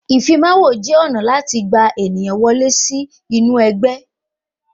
Ìfimawo jẹ́ ọ̀nà láti fi gba ènìyàn wọlé sí inú ẹgbẹ́